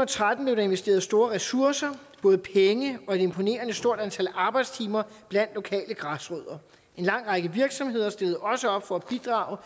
og tretten blev der investeret store ressourcer både penge og et imponerende stort antal arbejdstimer blandt lokale græsrødder en lang række virksomheder stillede også op for at bidrage